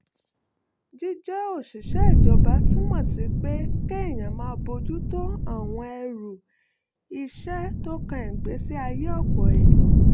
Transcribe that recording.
jíjẹ́ òṣìṣẹ́ ìjọba túmọ̀ sí pé kéèyàn máa bójú tó àwọn ẹrù iṣẹ́ tó kan ìgbésí ayé ọ̀pọ̀ èèyàn